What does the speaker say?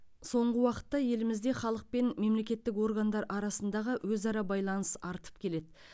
соңғы уақытта елімізде халық пен мемлекеттік органдар арасындағы өзара байланыс артып келеді